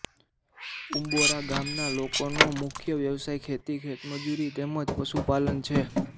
ઉંબોરા ગામના લોકોનો મુખ્ય વ્યવસાય ખેતી ખેતમજૂરી તેમ જ પશુપાલન છે